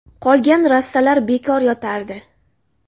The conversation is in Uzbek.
Qolgan rastalar bekor yotardi.